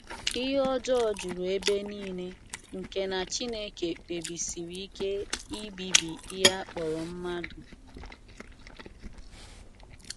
Ihe ọjọọ juru ebe nile nke na Chineke kpebisiri ike ibibi ihe a kpọrọ mmadụ.